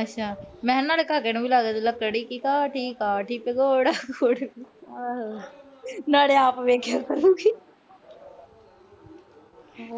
ਅੱਛਾ। ਮੈਂ ਕਿਹਾ ਇਹਨਾਂ ਦੇ ਘਰਦਿਆਂ ਨੂੰ ਵੀ ਲਾਦੇ- ਲੱਕੜੀ ਕੀ ਕਾਠੀ, ਕਾਠੀ ਪੇ ਘੋੜਾ, ਨਾਲੇ ਆਪ ਦੇਖਿਆ ਕਰੂਗੀ। ਹਾਂ